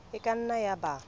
e ka nna ya ba